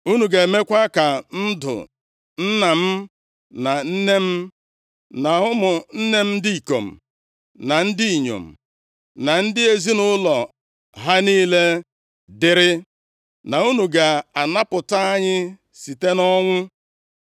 na unu ga-emekwa ka ndụ nna m, na nne m, na ụmụnne m ndị ikom na ndị inyom, na ndị ezinaụlọ ha niile dịrị, na unu ga-anapụta anyị site nʼọnwụ.”